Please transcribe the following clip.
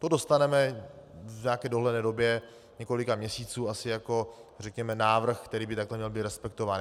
To dostaneme v nějaké dohledné době několika měsíců asi jako řekněme návrh, který by takhle měl být respektován.